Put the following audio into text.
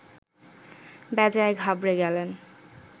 বেজায় ঘাবড়ে গেলেন